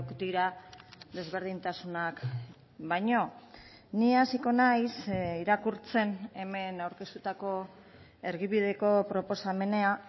dira desberdintasunak baino ni hasiko naiz irakurtzen hemen aurkeztutako erdibideko proposamena